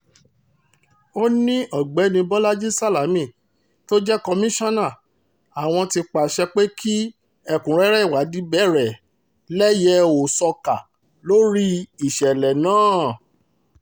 ó ní ọ̀gbẹ́ni bolaji salami tó jẹ́ komisanna àwọn ti pàṣẹ pé kí ẹ̀kúnrẹ́rẹ́ ìwádìí bẹ̀rẹ̀ lẹ́yẹ-ò-ṣọ́ká lórí ìṣẹ̀lẹ̀ náà